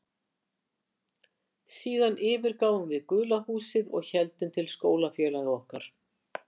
Síðan yfirgáfum við gula húsið og héldum til skólafélaga okkar.